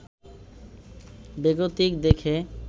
বেগতিক দেখে